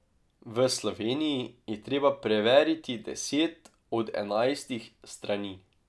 V Sloveniji je treba preveriti deset od enajstih strani.